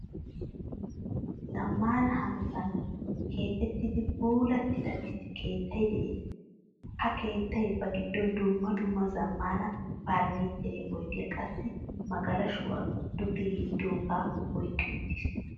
Zamaana hanottan keexettidi puulattida issi keettay de'ees. Ha keettay ba giddon dumma dumma zamaana furnichchere oydiyaa qassi magalashshuwaa duge yeedoga oyqqi uttiiis.